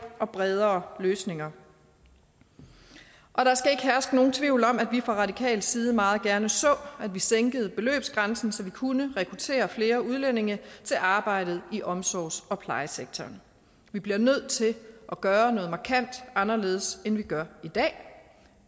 og bredere løsninger og der skal ikke herske nogen tvivl om at vi fra radikal side meget gerne så at vi sænkede beløbsgrænsen så vi kunne rekruttere flere udlændinge til arbejdet i omsorgs og plejesektoren vi bliver nødt til at gøre noget markant anderledes end vi gør i dag